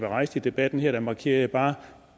rejst i debatten her markerer jeg bare at